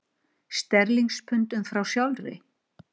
Sterlingspundum frá sjálfri